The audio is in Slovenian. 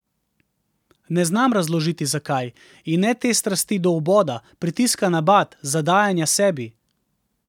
Ne znam razložiti, zakaj, in ne te strasti do vboda, pritiska na bat, zadajanja sebi.